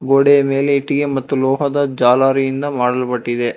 ಗೋಡೆಯ ಮೇಲೆ ಇಟ್ಟಿಗೆ ಮತ್ತು ಲೋಹದ ಜಾಲರಿಯಿಂದ ಮಾಡಲ್ಪಟ್ಟಿದೆ.